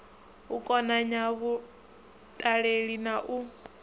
u konanya vhaṱaleli na u